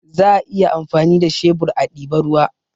Za a iya amfani da shebur a diba ruwa